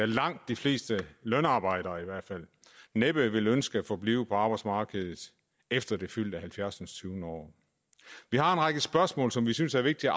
langt de fleste lønarbejdere næppe vil ønske at forblive på arbejdsmarkedet efter det fyldte halvfjerdsindstyvende år vi har en række spørgsmål som vi synes er vigtige